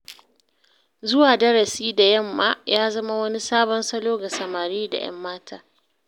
Zuwa darasi da yamma ya zama wani sabon salo ga samari da 'yanmata